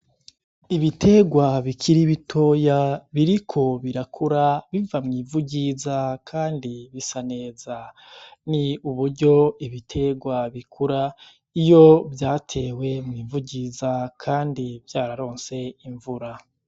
Ibiterwa bikiri bitoya biriko birakura biva mw'ivu ryiza kandi bisa neza, ni uburyo ibiterwa bikura iyo vyatewe mw'ivu ryiza kandi vyararonse imvura.